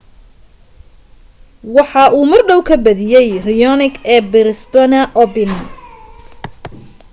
waxa uu mardhow ka badiye raonic ee brisbane open